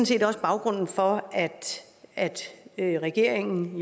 set også baggrunden for at at regeringen